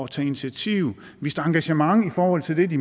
tage initiativ vist engagement i forhold til det de